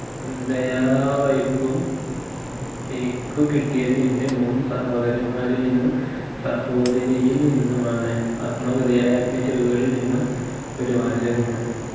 ദയാവായ്പ്പും എനിക്കു കിട്ടിയത് എന്റെ മൂന്ന് സഹോദരന്മാരിൽ നിന്നും സഹോദരിയിൽ നിന്നുമാണ് ആത്മകഥയായ അഗ്നി ചിറുകുകളിൽ നിന്നും ഒരു വാചകം